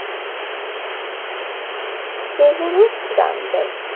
সে Guru Ramdas জি